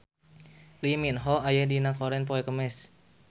Lee Min Ho aya dina koran poe Kemis